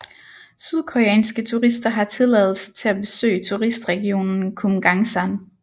Sydkoreanske turister har tilladelse til at besøge turistregionen Kumgangsan